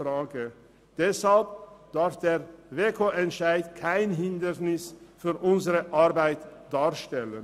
Deshalb darf er kein Hindernis für unsere Arbeit darstellen.